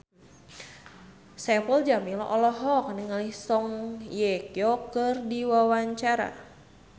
Saipul Jamil olohok ningali Song Hye Kyo keur diwawancara